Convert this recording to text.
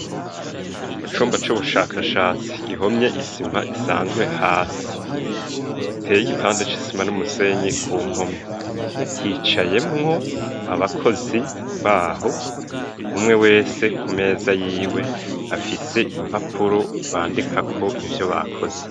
Mu cumba c'ubushakashatsi gihomye isima isanzwe hasi. Giteye igipande c'isima n'umusenyi ku mpome. Hicayemwo abakozi baho, umwe wese ku meza y'iwe afise impapuro bandikako ivyo bakoze.